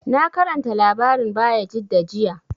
Na karanta labarin Bayajidda jiya